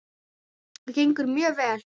Það gengur mjög vel.